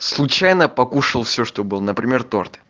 случайно покушал все что было например торт